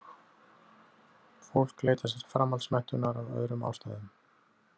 Fólk leitar sér framhaldsmenntunar af öðrum ástæðum.